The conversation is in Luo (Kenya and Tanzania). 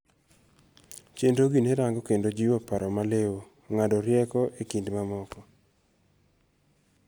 Chenrogi nerango kendo jiwo paro maliw, ng'ado rieko ekind mamoko.